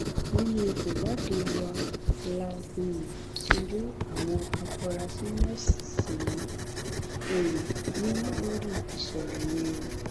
nínú ìwádìí wa la um ti rí àwọn afurasí mẹsànán um mú lórí ìṣẹlẹ yẹn